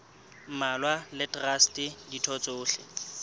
mmalwa le traste ditho tsohle